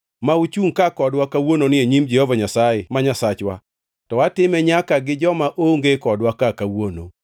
ma uchungʼ ka kodwa kawuononi e nyim Jehova Nyasaye ma Nyasachwa, to atime nyaka gi joma onge kodwa ka kawuono.